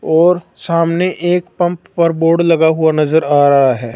और सामने एक पंप पर बोर्ड लगा हुआ नजर आ रहा है।